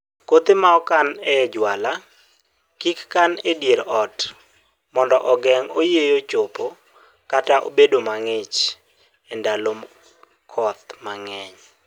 kothe ma okan ee juala kik kan e dier ot mondo ogeng oyieyo chopo kata bedo mangich (e ndalo koth mangeny)